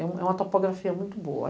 É uma topografia muito boa.